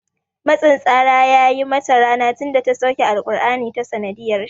Matsin tsara ya yi mata rana tinda ta sauke alƙurani ta sanadiyar shi